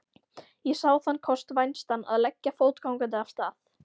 Ég sá þann kost vænstan að leggja fótgangandi af stað.